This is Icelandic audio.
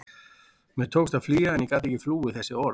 Mér tókst að flýja en ég gat ekki flúið þessi orð.